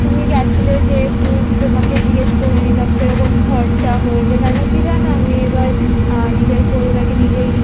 তুমি গেছিলে যেহেতু তোমাকে জিগ্গেস করেনিলাম খরচা হয়েছে কেন কি জানো এবার আহ নিজের পরিবারকে নিজেই